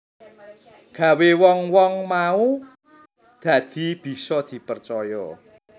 Gawé wong wong mau dadi bisa dipercaya